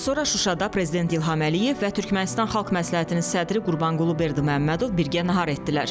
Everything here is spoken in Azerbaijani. Dünən Şuşada prezident İlham Əliyev və Türkmənistan xalq məsləhətinin sədri Qurbanqulu Berdiməmmədov birgə nahar etdilər.